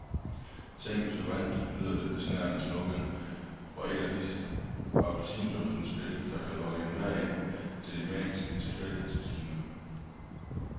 Tænk hvis du vandt, lyder det besnærende slogan fra et af disse appelsinduftende spil, der kan lokke enhver ind til de magiske tilfældighedsmaskiner.